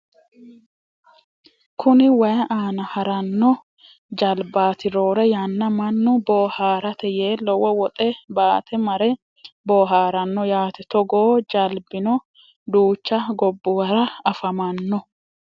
Kuni wayii aana haranno jalbaati roore yanna mannu booharate yee lowo woxe baate mare booharanno yaate togoo jalbino duucha gobbuwara afamanno